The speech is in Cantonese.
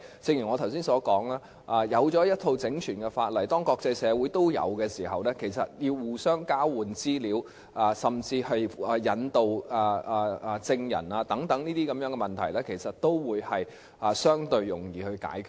正如我剛才所說，當訂立了一套整全的法例，而國際社會亦同時有這些法例時，要互相交換資料甚至引渡證人等問題都會相對地容易解決。